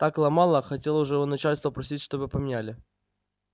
так ломало хотел уже у начальства просить чтобы поменяли